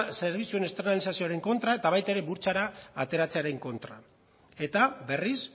zerbitzuen externalizazioaren kontra eta baita ere burtsara ateratzearen kontra eta berriz